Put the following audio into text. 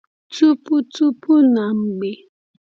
Tupu Tupu na Mgbe